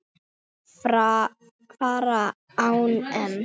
fara á EM.